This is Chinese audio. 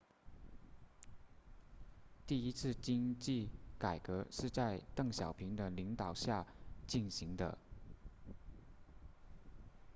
第一次经济改革是在邓小平的领导下进行的